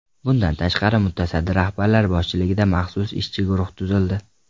Bundan tashqari, mutasaddi rahbarlar boshchiligida maxsus ishchi guruhlar tuzildi.